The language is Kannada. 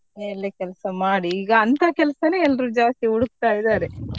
ಮನೆಯಲ್ಲಿ ಕೆಲ್ಸ ಮಾಡಿ ಈಗ ಅಂತ ಕೆಲ್ಸನೆ ಎಲ್ರು ಜಾಸ್ತಿ ಹುಡುಕ್ತಾ ಇದ್ದಾರೆ.